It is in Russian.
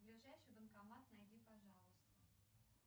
ближайший банкомат найди пожалуйста